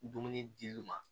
Dumuni di lu ma